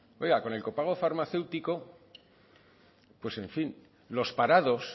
oiga con el copago farmacéutico pues en fin los parados